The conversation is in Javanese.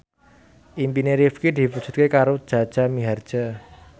impine Rifqi diwujudke karo Jaja Mihardja